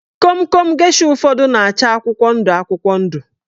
Komkom gesha ụfọdụ na-acha akwụkwọ ndụ akwụkwọ ndụ